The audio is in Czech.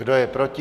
Kdo je proti?